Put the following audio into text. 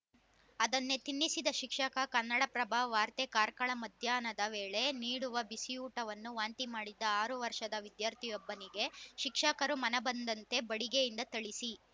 ಅದನ್ನೇ ತಿನ್ನಿಸಿದ ಶಿಕ್ಷಕ ಕನ್ನಡಪ್ರಭ ವಾರ್ತೆ ಕಾರ್ಕಳ ಮಧ್ಯಾಹ್ನದ ವೇಳೆ ನೀಡುವ ಬಿಸಿಯೂಟವನ್ನು ವಾಂತಿ ಮಾಡಿದ್ದ ಆರು ವರ್ಷದ ವಿದ್ಯಾರ್ಥಿಯೊಬ್ಬನಿಗೆ ಶಿಕ್ಷಕರು ಮನಬಂದಂತೆ ಬಡಿಗೆಯಿಂದ ಥಳಿಸಿ